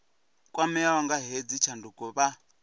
kwameaho nga hedzi tshanduko vha